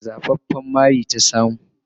Wata zafafan mari ta samu.